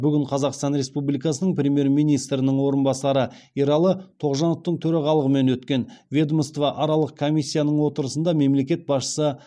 бүгін қазақстан республикасының премьер министрінің орынбасары ералы тоғжановтың төрағалығымен өткен ведомствоаралық комиссияның отырысында мемлекет басшысы